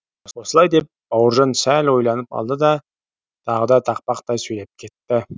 осылай деп бауыржан сәл ойланып алды да тағы да тақпақтай сөйлеп кетті